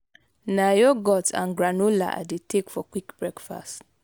na yogurt and granola i dey take for quick breakfast.